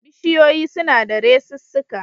Bishiyoyi suna da resussuka